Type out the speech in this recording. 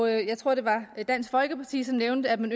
jeg tror det var dansk folkeparti som nævnte at man